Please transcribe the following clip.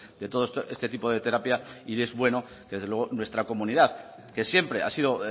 de todo este tipo de terapia y es bueno que desde luego nuestra comunidad que siempre ha sido